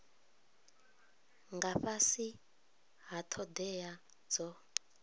nga fhasi ha thodea dzo